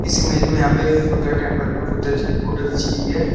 इस इमेज में यहां पर बुद्धा टेंपल में बुद्धा जी की फोटो खींची गई है।